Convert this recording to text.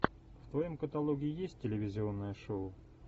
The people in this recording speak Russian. в твоем каталоге есть телевизионное шоу